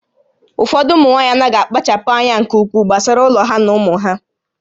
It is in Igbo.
Ụfọdụ ụmụ nwaanyị anaghị akpachapụ anya nke ukwuu gbasara ụlọ ha na ụmụ ha